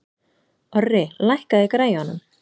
Orri, lækkaðu í græjunum.